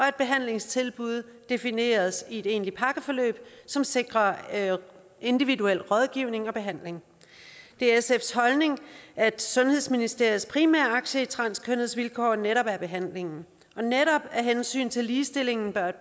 at behandlingstilbud defineres i et egentligt pakkeforløb som sikrer individuel rådgivning og behandling det er sfs holdning at sundhedsministeriets primære aktie i transkønnedes vilkår netop er behandlingen og netop af hensyn til ligestillingen bør et